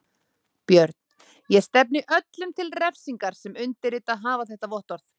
BJÖRN: Ég stefni öllum til refsingar sem undirritað hafa þetta vottorð.